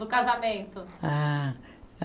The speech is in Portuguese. Do casamento. Ah